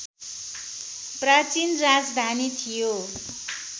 प्राचीन राजधानी थियो